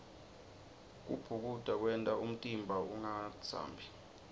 kubhukuda kwenta umtimba ungatsambi